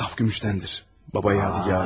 Saf gümüşdəndir, baba yadigarı.